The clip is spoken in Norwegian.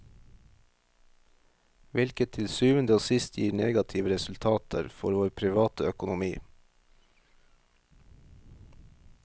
Hvilket til syvende og sist gir negative resultater for vår private økonomi.